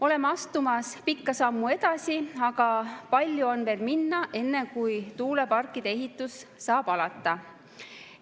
Oleme astumas pikka sammu edasi, aga palju on veel minna, enne kui tuuleparkide ehitus saab alata.